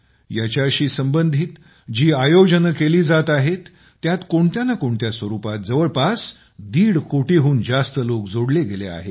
याच्यासशी संबंधित जे आयोजन केले जात आहेत त्यात कोणत्या ना कोँणत्या स्वरूपात जवळपास दीडकोटीहून जास्त लोक जोडले गेले आहेत